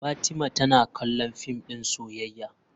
Fatima tana kallon fim din soyayya.